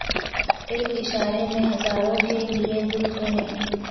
اک اشارے میں ہزاروں کے لیے دل تو نے